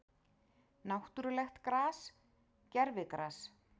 Náttúrulegt gras, gervigras?